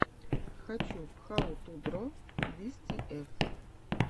хочу хау ту дро виз тиэф